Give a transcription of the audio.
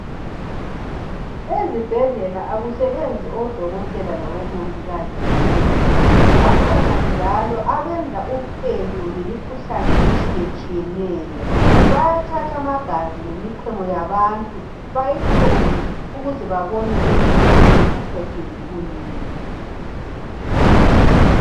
Ezibhedlela akusebenzi odokotela labomongikazi kuphela, bakhona njalo abenza uphenyo ngemikhuhlani etshiyatshiyeneyo bayathathamagazi lemichemo yabantu bayihlole ukuze babone ukuthi ymuntu uphethwe yikuyini.